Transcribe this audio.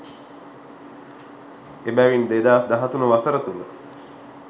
එබැවින් 2013 වසර තුළ